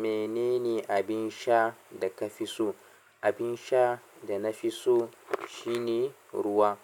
Menene abin sha da ka fi so? Abin sha da na fi so shine ruwa.